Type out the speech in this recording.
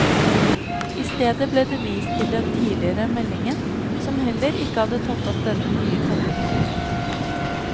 I stedet ble det vist til den tidligere meldingen, som heller ikke hadde tatt opp denne nye koblingen.